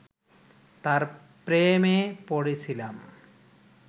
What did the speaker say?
তার প্রেমে পড়েছিলাম